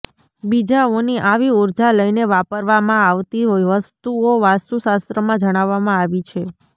બીજાઓ ની આવી ઉર્જા લઈને વાપરવા મા આવતી વસ્તુઓ વાસ્તુશાસ્ત્ર મા જણાવવા મા આવી છે